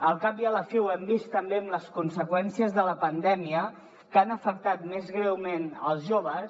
al cap i a la fi ho hem vist també amb les conseqüències de la pandèmia que han afectat més greument els joves